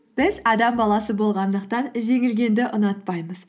біз адам баласы болғандықтан жеңілгенді ұнатпаймыз